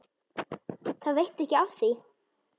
Það veitti ekki af því.